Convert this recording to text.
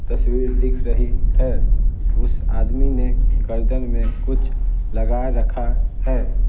तस्वीर दिख रही है उस आदमी ने गर्दन में कुछ लगा रखा है।